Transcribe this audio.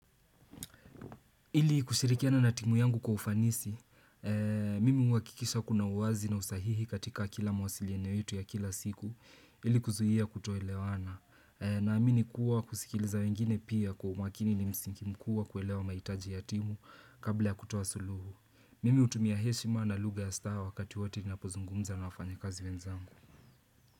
Ili kushirikiana na timu yangu kwa ufanisi, mimi huwakikisha kuna uwazi na usahihi katika kila mawasiliano yetu ya kila siku ili kuzuia kutoelewana. Naamini kuwa kusikiliza wengine pia kwa umakini ni msiki mkubwa kuelewa mahitaji ya timu kabla ya kutoa suluhu. Mimi hutumia heshima na lugha ya staa wakati wote napozungumza na wafanya kazi wenzangu.